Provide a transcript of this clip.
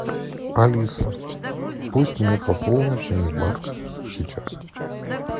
алиса пусть мне пополнят мини бар сейчас